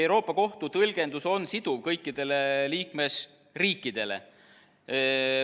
Euroopa Kohtu tõlgendus on siduv kõikidele liikmesriikidele.